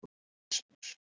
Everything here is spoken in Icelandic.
Rasmus